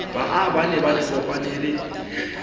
baa ba ne ba kopanele